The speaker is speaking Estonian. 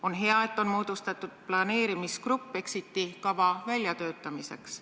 On hea, et on moodustatud planeerimisgrupp exit-kava väljatöötamiseks.